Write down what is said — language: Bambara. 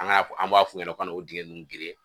An ka an b'a f'u ɲɛna u kana o dingɛn ninnu geren.